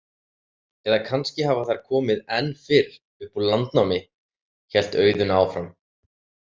Eða kannski hafa þær komið enn fyrr, upp úr landnámi, hélt Auðunn áfram.